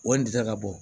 O de tɛ ka bɔ